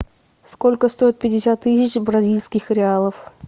сколько стоит пятьдесят тысяч бразильских реалов